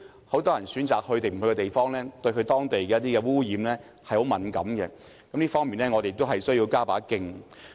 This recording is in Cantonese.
很多人選擇是否前往一個地方時，對當地的污染情況十分敏感，這方面我們同樣需要加把勁。